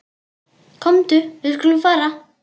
Komdu, við skulum fara.